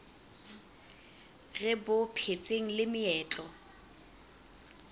re bo phetseng le meetlo